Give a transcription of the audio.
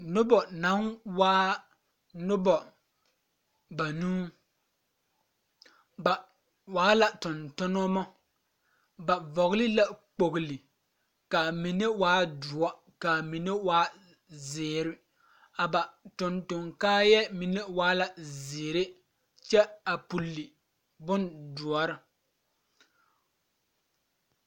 Noba naŋ waa noba banuu ba waa la tontonemɔ ba vɔɡele la kpoɡele ka a mine waa doɔ ka a mine waa ziiri a ba tontoŋ kaayɛɛ mine waa la ziiri kyɛ a puli bondoɔre.